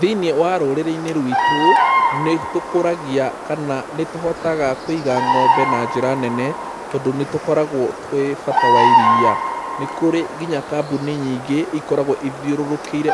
Thĩiniĩ wa rũrĩrĩ-inĩ rwitũ nĩ tũkũragia kana nĩ tũhotaga kũiga ng'ombe na njĩra nene tondũ nĩ tũkoragwo tũĩ bata wa iria. Nĩ kũrĩ nginya kambuni nyingĩ ikoragwo ithiũrũrũkĩire